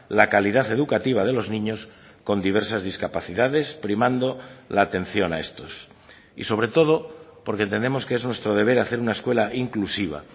la calidad educativa de los niños con diversas discapacidades primando la atención a estos y sobre todo porque entendemos que es nuestro deber hacer una escuela inclusiva